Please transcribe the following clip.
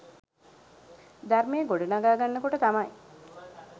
ධර්මය ගොඩනගාගන්න කොට තමයි